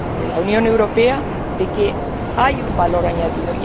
la Unión Europea de que hay un valor añadido.